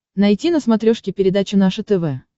найти на смотрешке передачу наше тв